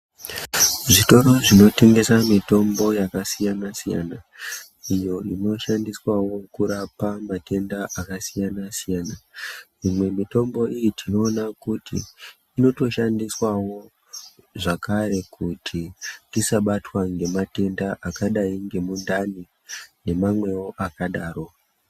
Zvitoro zvinotengesa mitombo yakasiyana siyana iyo inoshandiswawo kurapa matenda akasiyana siyana. Imwe mitombo iyi tinoona kuti inotoshandiswawo zvakare kuti tisabatwe ngematenda akadayi ngemundani nemwamwewo akadaro.